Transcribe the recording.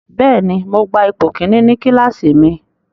Bẹ́ẹ̀ni, Mo gba ipo kini ni kilasi mi